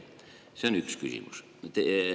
See on üks küsimus.